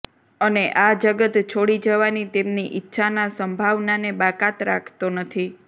અને આ જગત છોડી જવાની તેમની ઇચ્છાના સંભાવનાને બાકાત રાખતો નથી